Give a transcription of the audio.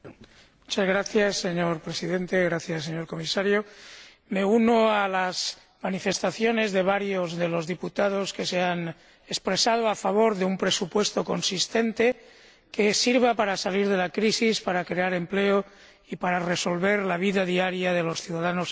Señor Presidente, señor Comisario, me uno a las manifestaciones de varios de los diputados que se han expresado a favor de un presupuesto consistente, que sirva para salir de la crisis, para crear empleo y para resolver la vida diaria de los ciudadanos europeos.